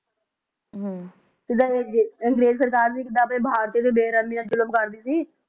ਜਿੱਦਾਂ ਅੰਗਰੇਜ ਸਰਕਾਰ ਵੀ ਭਾਰਤੀਆਂ ਤੇ ਬੇਰਹਿਮੀ ਨਾਲ ਜ਼ੁਲਮ ਕਰਦੀ ਸੀ